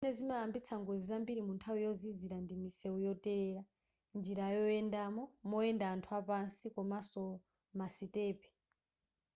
zimene zimayambisa ngozi zambiri munthawi yozizira ndi misewu yotelela njira zoyendamo moyenda anthu apasi komaso masitepe